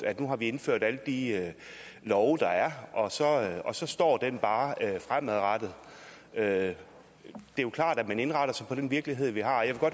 at nu har vi indført alle de love der er og så og så står det bare sådan fremadrettet det er jo klart at man indretter sig på den virkelighed vi har jeg